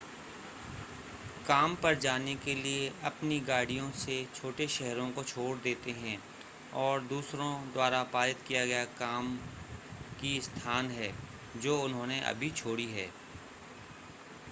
काम पर जाने के लिए अपनी गाड़ियों से छोटे शहरो को छोड़ देते हैं और दूसरों द्वारा पारित किया गया काम की स्थान है जो उन्होंने अभी छोड़ी है